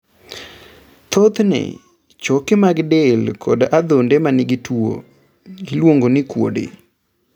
Thothne, choke mag del kod adhonde ma nigi tuwo, iluongo ni kuode.